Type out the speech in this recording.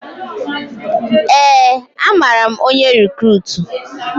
Ee, amara m onye rikruutu